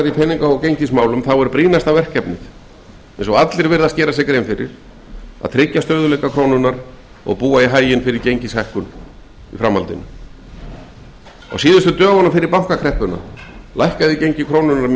í peninga og gengismálum þá er brýnasta verkefnið núna að tryggja stöðugleika krónunnar og búa í haginn fyrir gengishækkun með tímanum á síðustu dögunum fyrir bankakreppuna lækkaði gengi krónunnar mjög